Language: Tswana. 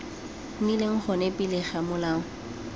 nnileng gona pele ga molao